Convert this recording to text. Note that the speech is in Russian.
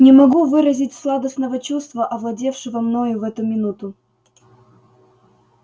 не могу выразить сладостного чувства овладевшего мною в эту минуту